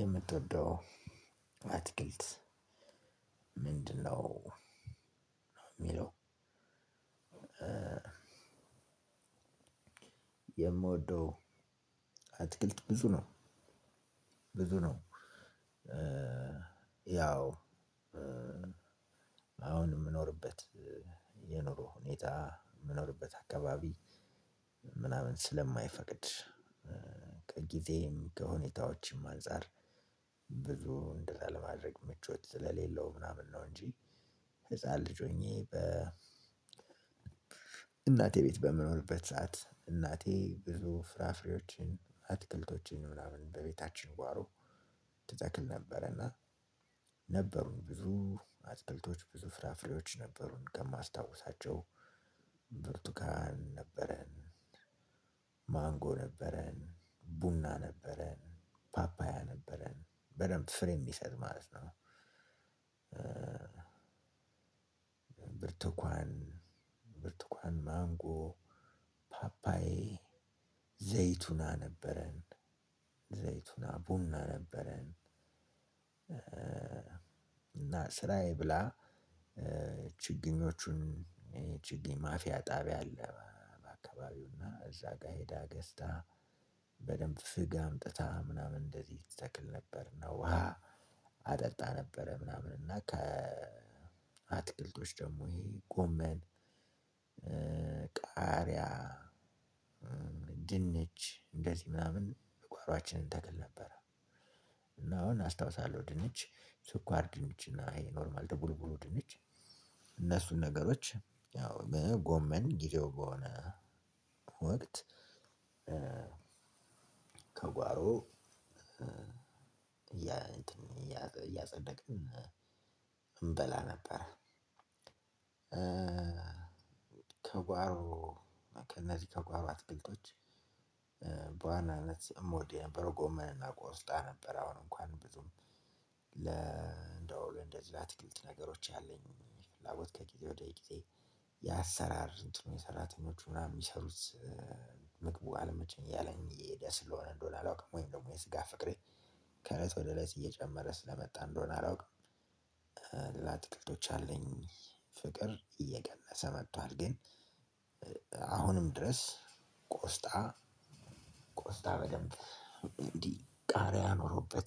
የምትወደው አትክልት ምንድን ነው እሚለው? የምወደው አትክልት ብዙ ነው ብዙ ነው። ያው አሁን እምኖርበት የኑሮ ሁኔታ እምኖርበት አካባቢ ምናምን ስለማይፈቅድ ከጊዜም ከሁኔታዎችም አንፃር ብዙ እንደዛ ለማድረግ ምቾት ስለሌለው ምናምን ነው እንጂ። ህፃን ልጅ ሆኜ በ እናቴ ቤት በምኖርበት ሰዓት እናቴ ብዙ ፍራፍሬዎችን አትክልቶችን ምናምን በቤታችን ጓሮ ትተክል ነበር። እና ነበሩኝ ብዙ አትክልቶች ብዙ ፍራፍሬዎች ነበሩን። ከማስታውሳቸው ብርቱካን ነበረን ማንጎ ነበረን ቡና ነበረን ፓፓያ ነበረን በደንብ ፍሬ እሚሰጥ ማለት ነው። ብርቱካን ብርቱካን ማንጎ ፓፓዬ ዘይቱን ነበረን ዘይቱና ቡና ነበረን። እና ስራዬ ብላ ችግኞቹን ችግኝ ማፊያ ጣቢያ አለ በአካባቢው እና እዛ ጋር ሄዳ ገዝታ በደንብ ፍግ አምጥታ ምናምን እንደዚህ ትተክል ነበር እና ውሃ አጠጣ ነበረ። ምናምን እና ከ አትክልቶች ደግሞ ይሄ ጎመን ቃሪያ ድንች እንደዚህ ምናምን እጓሮአችን እንተክል ነበር። እና አሁን አስታውሳለሁ ድንች ስኳር ድንች እና ይሄ ኖርማል ድብልብሉ ድንች እነሱን ነገሮች ያው ጎመን ጊዜው በሆነ ወቅት ከጓሮ እያየን እያፀደቅን እንበላ ነበር። ተጓሮ እነዚህ ከጓሮ አትክልቶች በዋናነት እምወድ የነበረው ጎመን እና ቆስጣ ነበር። አሁን እንኳን ብዙም ለእንደው ለእንደዚህ ለአትክልት ነገሮች ያለኝ ፍላጎት ከጊዜ ወደ ጊዜ የአሰራር እንትኑ የሰራተኞቹ ምናምን የሚሰሩት ምግቡ አለመቼኝ እያለኝ እየሄደ ስለሆነ እንደሆነ አላውቅም ወይም ደግሞ የስጋ ፍቅሬ ከእለት ወደ እለት እየጨመረ ስለመጣ እንደሆነ አላውቅም። ለአትክልቶች ያለኝ ፍቅር እየቀነሰ መጥቷል። ግን አሁንም ድረስ ቆስጣ ቆስጣ በደንብ እንዲህ ቃሪያ ኖሮበት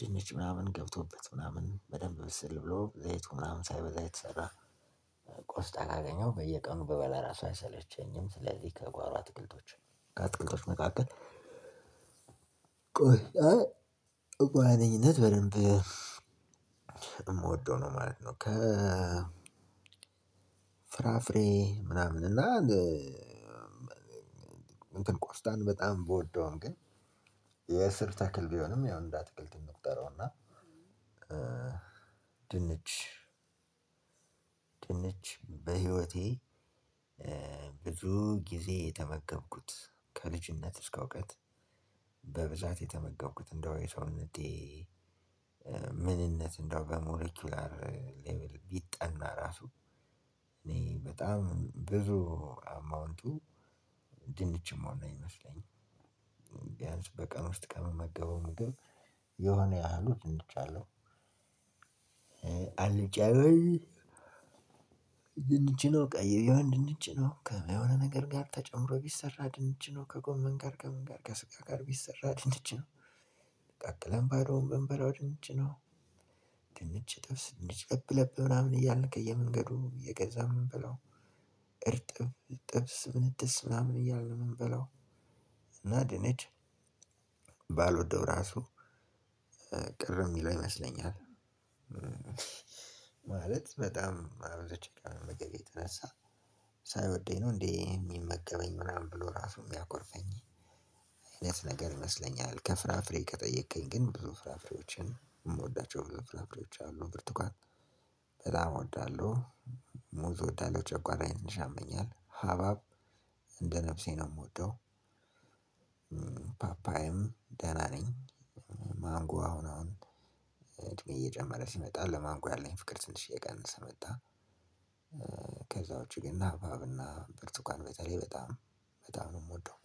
ድንች ምናምን ገብቶበት ምናምን በደንብ ብስል ብሎ ዘይቱ ምናምን ሳይበዛ የተሰራ ቆስጣ ካገኘው በየቀኑ በበላ ራሷ አይሰለቸኝም ስለዚህ ከጓሮ አትክልቶች ከአትክልቶች መካከል ቆስጣ በዋነኝነት በደንብ እምወደው ነው ማለት ነው። ከ ፍራፍሬ ምናምን እና እንትን ቆስጣን በጣም ብወደውም ግን የእስር ተክል ቢሆንም ያው እንደ አትክልት እንቁጠረውና እና ድንች በህይወቴ ብዙ ጊዜ የተመገብኩት ከልጅነት እስከ እውቀት በብዛት የተመጋብኩት እንደው የሰውነቴ ምንነት እንደው በሞሌኩላር ሌቭል ቢጠና ራሱ እኔ በጣም ብዙ አማውንቱ ድንች እምሆን ነው እሚመስለኝ። ቢያንስ በቀን ውስጥ ከምመገበው ምግብ የሆነ ያህሉ ድንች አለው። አንጫቢሆን ድንች ነው ቀይ ቢሆን ድንች ነው ከሆነ ነገር ጋር ተጨምሮ ቢሰራ ድንች ነው ከጎመን ጋር ከምን ጋር ከስጋ ጋር ቢሰራ ድንቺ ነው። ቀቅለን ባዶውን በንበላው ድንች ነው። ድንች ጥብስ ድንች ገብለብ ምናምን እያልን ከየመንገዱ የገዛው እምንበላው እርጥብ ጥብስ ምንትስ ምናምን እያልን እምንበላው እና ድንች ባልወደው ራሱ ቅር እሚለው ይመስለኛል። ማለት በጣም አብዝቸ ከመመገቤ የተነሳ ሳይወደኝ ነው እንዴ እሚመገበኝ ምናምን ብሎ ራሱ እሚያኮርፈኝ አይነት ነገር ይመስለኛል። ከፍራፍሬ ከጠየከኝ ግን ብዙ ፍራፍሬዎችን እምወዳቸው ብዙ ፍራፍሬወች አሉ ብርቱካን በጣም እወዳለሁ። ሙዝ እወዳለው ጨጓራዬን ትንሽ ያመኛል ሀባብ እንደ ነፍሴ ነው እምወደው። ፓፓዬም ደህና ነኝ ማንጎ አሁን አሁን እድሜ እየጨመረ ሲመጣ ለማንጎ ያለኝ ፍቅር ትንሽ እየቀንሰ መጣ። ከዛውጭ ግን ሀባብ እና ብርቱካን በተለይ በጣም በጣም ነው እምወደው።